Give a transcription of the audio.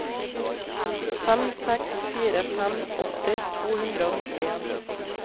fem seks fire fem åtti to hundre og nittien